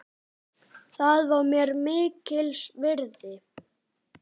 Það var mér mikils virði.